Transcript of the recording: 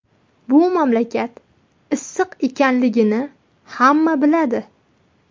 Bu mamlakat issiq ekanligini hamma biladi.